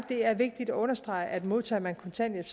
det er vigtigt at understrege at modtager man kontanthjælp